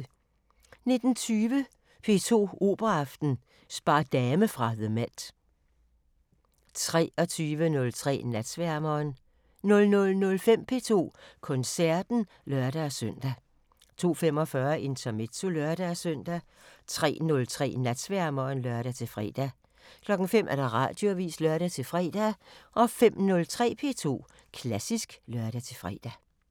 19:20: P2 Operaaften: Spader Dame fra The MET 23:03: Natsværmeren 00:05: P2 Koncerten (lør-søn) 02:45: Intermezzo (lør-søn) 03:03: Natsværmeren (lør-fre) 05:00: Radioavisen (lør-fre) 05:03: P2 Klassisk (lør-fre)